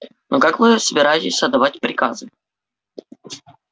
но как вы собираетесь отдавать приказы